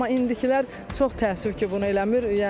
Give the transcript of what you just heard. Amma indilər çox təəssüf ki, bunu eləmir.